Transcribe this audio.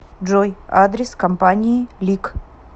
джой адрес компании лик